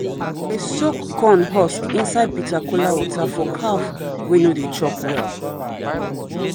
soak corn husk inside bitter kola water for calf wey no dey chop well.